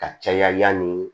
Ka caya yanni